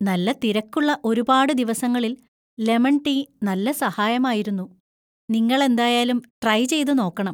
നല്ല തിരക്കുള്ള ഒരുപാട് ദിവസങ്ങളിൽ ലെമൺ ടീ നല്ല സഹായമായിരുന്നു, നിങ്ങളെന്തായാലും ട്രൈ ചെയ്തുനോക്കണം.